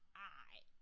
Ej!